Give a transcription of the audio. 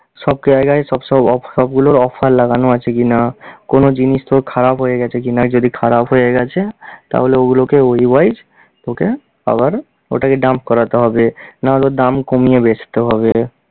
সব জায়গায় সব সব off~ সবগুলোর offer লাগানো আছে কি-না, কোন জিনিস তোর খারাপ হয়ে গেছে কি-না, যদি খারাপ হয়ে গেছে তাহলে ওগুলোকে ওই wise তোকে আবার ওটাকে dump করাতে হবে, না হলে ওর দাম কমিয়ে বেঁচতে হবে।